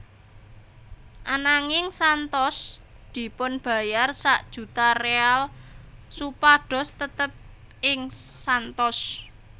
Ananging Santos dipunbayar sak juta real supados tetep ing Santos